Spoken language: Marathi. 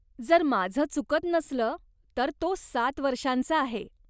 जर माझं चुकत नसलं तर तो सात वर्षांचा आहे.